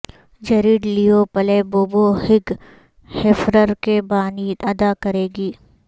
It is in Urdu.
جیریڈ Leto Playboy Hugh Hefner کے بانی ادا کرے گی